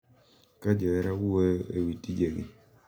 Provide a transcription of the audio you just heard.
Ka johera wuoyo e wi tijegi